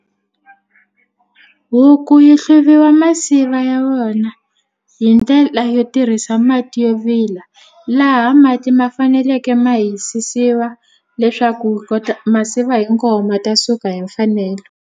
Huku yi hluviwa masiva ya wona hi ndlela yo tirhisa mati yo vila laha mati ma faneleke ma hisisiwa leswaku wu kota masiva hinkwawo ma ta suka hi mfanelo.